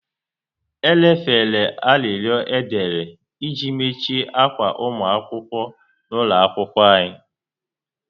E lefere arịrịọ e dere iji machie akwa ụmụ akwụkwọ n'ụlọ akwụkwọ anya